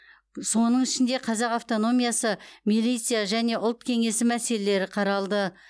соның ішінде қазақ автономиясы милиция және ұлт кеңесі мәселелері қаралды